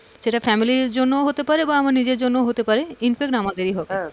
সেটা family র জন্যও হতে পারে বা নিজের জন্যও হতে পারে, infact আমাদেরই হবে.